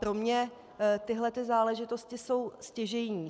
Pro mě tyhlety záležitosti jsou stěžejní.